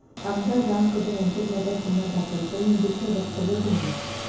आमदार राम कदम यांच्याविरोधात गुन्हा दाखल, दहीहंडीतलं वक्तव्य भोवलं